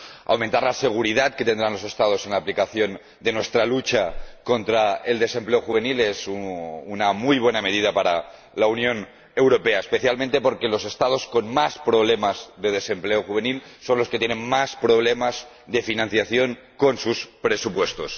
Aumentar la seguridad que tendrán los Estados en la aplicación de nuestra lucha contra el desempleo juvenil es una muy buena medida para la Unión Europea, especialmente porque los Estados con más problemas de desempleo juvenil son los que tienen más problemas de financiación con sus presupuestos.